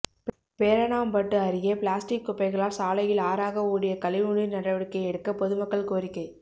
பேரணாம்பட்டு அருகே பிளாஸ்டிக் குப்பைகளால் சாலையில் ஆறாக ஓடிய கழிவுநீர் நடவடிக்கை எடுக்க பொதுமக்கள் கோரிக்கை